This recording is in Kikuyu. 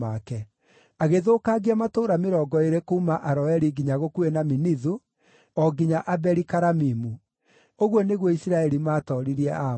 Agĩthũkangia matũũra mĩrongo ĩĩrĩ kuuma Aroeri nginya gũkuhĩ na Minithu, o nginya Abeli-Karamimu. Ũguo nĩguo Isiraeli maatooririe Aamoni.